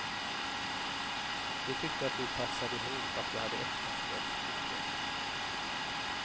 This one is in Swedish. De tyckte att vi passade ihop, att vi hade äktenskapstycke.